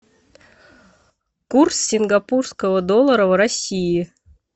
курс сингапурского доллара в россии